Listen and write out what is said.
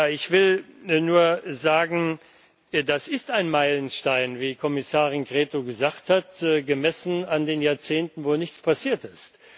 Ich will nur sagen Das ist ein Meilenstein, wie Kommissarin Crețu gesagt hat, gemessen an den Jahrzehnten, in denen nichts passiert ist.